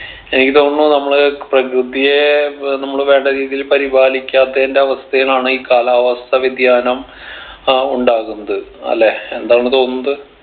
എനിക്ക് തോന്നുന്നു നമ്മള് പ്രകൃതിയെ ഏർ നമ്മള് വേണ്ട രീതിയിൽ പരിപാലിക്കാത്തതിന്റെ അവസ്ഥേയിന്നാണ് ഈ കാലാവസ്ഥ വ്യതിയാനം അഹ് ഉണ്ടാകുന്നത് അല്ലെ എന്താണ് തോന്നുന്നത്